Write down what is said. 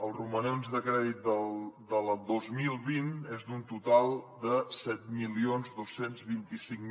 els romanents de crèdit del dos mil vint és d’un total de set mil dos cents i vint cinc